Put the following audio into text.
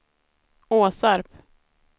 Åsarp